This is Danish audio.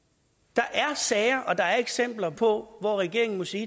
der er sager og der er eksempler på at regeringen må sige